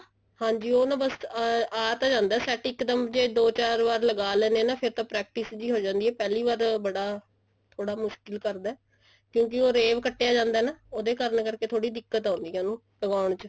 ਹਾਂਜੀ ਉਹ ਨਾ ਬੱਸ ਆ ਤਾਂ ਜਾਂਦਾ setting ਇੱਕ ਦਮ ਜੇ ਦੋ ਚਾਰ ਵਾਰ ਲਗਾ ਲੇਣੇ ਆ ਨਾ ਫੇਰ ਤਾਂ practice ਜੀ ਹੋ ਜਾਂਦੀ ਹੈ ਪਹਿਲੀ ਵਾਰ ਬੜਾ ਥੋੜਾ ਮੁਸ਼ਕਿਲ ਕਰਦਾ ਕਿਉਂਕਿ ਉਹ ਅਰੇਬ ਚ ਕੱਟਿਆ ਜਾਂਦਾ ਨਾ ਉਹਦੇ ਕਰਨ ਕਰਕੇ ਥੋੜੀ ਦਿੱਕਤ ਆਉਂਦੀ ਹੈ ਉਹਨੂੰ ਲਗਾਨ ਚ